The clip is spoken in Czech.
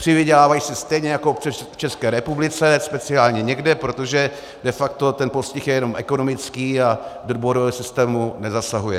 Přivydělávají si stejně jako v České republice, speciálně někde, protože de facto ten postih je jenom ekonomický a do bodového systému nezasahuje.